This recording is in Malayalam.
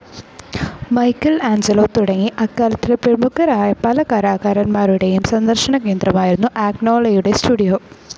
മൈക്കൽ ആഞ്ചലോ തുടങ്ങി അക്കാലത്തെ പ്രമുഖരായ പല കലാകാരന്മാരുടെയും സന്ദർശനകേന്ദ്രമായിരുന്നു അഗ്നോളയുടെ സ്റ്റുഡിയോ.